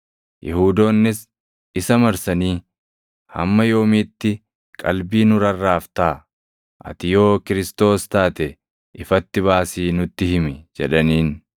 Yihuudoonnis isa marsanii, “Hamma yoomiitti qalbii nu rarraaftaa? Ati yoo Kiristoos + 10:24 yookaan Masiihicha taate ifatti baasii nutti himi” jedhaniin.